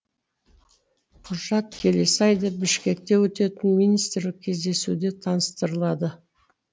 құжат келесі айда бішкекте өтетін министрлік кездесуде таныстырылады